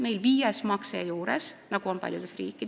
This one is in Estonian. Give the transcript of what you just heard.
Meil oleks viies makse juures, nagu on paljudes riikides.